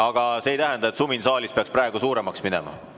Aga see ei tähenda, et sumin saalis peaks praegu suuremaks minema.